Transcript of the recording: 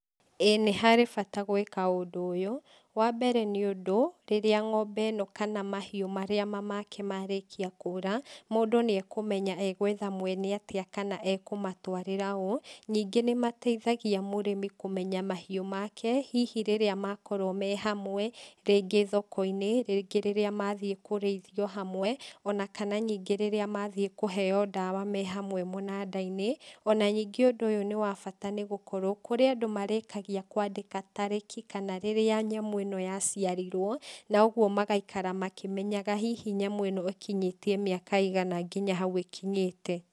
Ĩi nĩharĩ bata gwĩka ũndũ ũyũ, wambere nĩ ũndũ, rĩrĩa ngombe ĩno kana mahiũ marĩa mamake marĩkia kũra, mũndũ nĩakũmenya egwetha mwena atĩa kana ekũmatwarĩra ũũ, ningĩ nĩmateithagia mũrĩmĩ kũmenya mahiũ make, hihi rĩrĩa makorwo me hamwe, rĩngĩ thokoinĩ, rĩngĩ rĩrĩa mathiĩ kũrĩithio hamwe, ona kana nyingĩ rĩrĩa mathiĩ kũheo ndawa me hamwe mũnandainĩ, ona ningĩ ũndũ ũyũ nĩwabata nĩgũkorwo kũrĩ andũ marĩkagia kwandĩka tarĩki, kana rĩrĩa nyamũ ĩno yaciarirwo, na ũguo magaikara makĩmenyaga hihi nyamũ ĩno ĩkinyĩtie mĩaka ĩigana nginya hau ĩkinyĩte.